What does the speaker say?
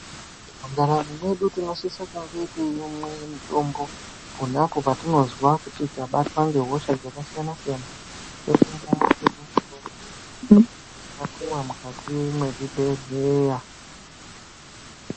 Mundaramo medu tinosisa kunge teimwa mutombo ponba apo patinonzwa tabatwa nehosha dzakasiyana siyana toshanda tapuwa mukati mezvibhedhlera.